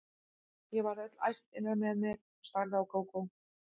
Ég varð öll æst innra með mér og starði á Kókó.